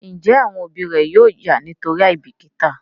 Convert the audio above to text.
Njé àwọn òbí ré yóò já nítorí àìbìkítà?